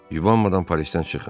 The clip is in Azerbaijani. Yubanmadan Parisdən çıxın.